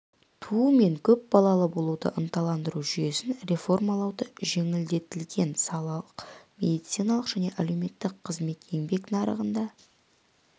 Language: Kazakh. туу мен көп балалы болуды ынталандыру жүйесін реформалауды жеңілдетілген салық медициналық және әлеуметтік қызмет еңбек нарығында